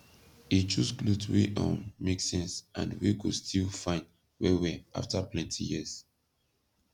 e choose kloth wey um make sense and wey go still fine wellwell afta plenti years